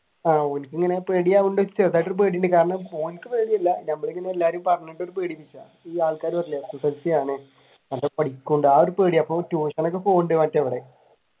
ഓന്ക്ക് ഇങ്ങനെ പേടിയാവുന്നുണ്ട് ചെറുതായിട്ട് ഒരു പേടിയുണ്ട് കാരണം ഓന്ക് പേടിയില്ല നമ്മൾ എല്ലാരും ഇങ്ങനെ പറഞ്ഞത്കൊണ്ട് ഈ ആൾകാർ പറയൂലെ SSLC ആണോ ഒരു പേടി tuition ഒക്കെ പോവുന്നുണ്ട്